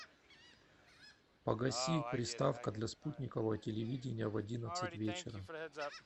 погаси приставка для спутникового телевидения в одиннадцать вечера